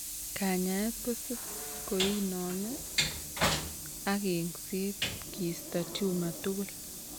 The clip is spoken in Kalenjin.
Kanyaeet kotsm koinome ak eng'seet kiisto tumor tugul